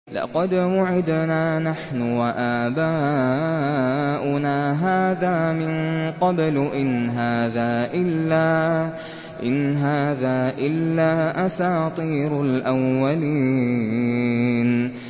لَقَدْ وُعِدْنَا نَحْنُ وَآبَاؤُنَا هَٰذَا مِن قَبْلُ إِنْ هَٰذَا إِلَّا أَسَاطِيرُ الْأَوَّلِينَ